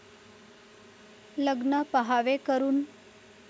लग्न पहावे करून!